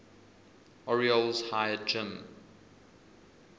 orioles hired jim